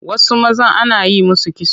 Wasu mazan ana yi musu kitso